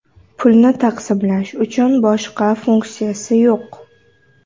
Pulni taqsimlash uchun, boshqa funksiyasi yo‘q.